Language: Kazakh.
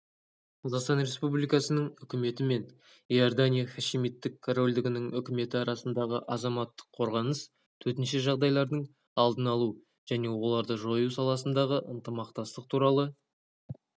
қазақстан республикасының үкіметі мен иордания хашимиттік корольдігінің үкіметі арасындағы азаматтық қорғаныс төтенше жағдайлардың алдын алу және оларды жою саласындағы ынтымақтастық туралы